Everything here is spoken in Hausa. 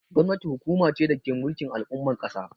Gwamnati hukuma ce dake mulkin al'umma a kasa.